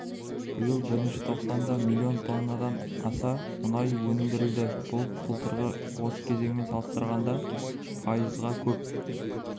биыл бірінші тоқсанда миллион тоннадан аса мұнай өндірілді бұл былтырғы осы кезеңімен салыстырғанда пайызға көп